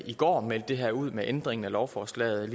i går meldte det her ud med ændringen af lovforslaget